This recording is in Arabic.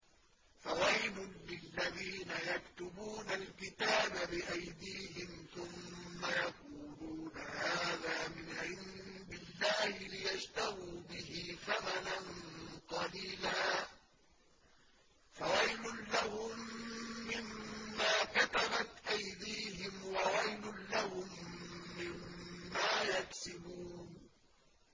فَوَيْلٌ لِّلَّذِينَ يَكْتُبُونَ الْكِتَابَ بِأَيْدِيهِمْ ثُمَّ يَقُولُونَ هَٰذَا مِنْ عِندِ اللَّهِ لِيَشْتَرُوا بِهِ ثَمَنًا قَلِيلًا ۖ فَوَيْلٌ لَّهُم مِّمَّا كَتَبَتْ أَيْدِيهِمْ وَوَيْلٌ لَّهُم مِّمَّا يَكْسِبُونَ